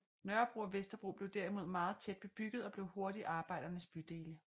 Nørrebro og Vesterbro blev derimod meget tæt bebygget og blev hurtigt arbejdernes bydele